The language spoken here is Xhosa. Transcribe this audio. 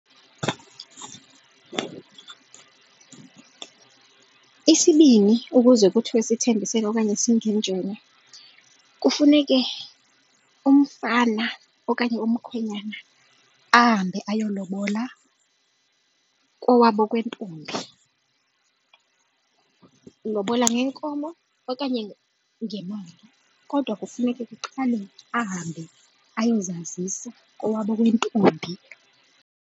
Isibni ukuze kuthiwe sithembisene okanye singenjene kufuneke umfana okanye umkhwenyana ahambe ayolobola kowabo kwentombi elobola ngeenkomo okanye ngemali, kodwa kufuneka kuqale ahambe ayozazisa kowabo kwentombi.